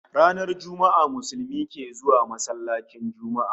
Ranar Juma'a Musulmi ke zuwa sallar Juma'a